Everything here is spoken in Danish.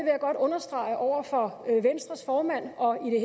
jeg godt understrege over for venstres formand og i